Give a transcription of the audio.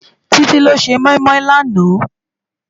Titi ló sé moimoi làná?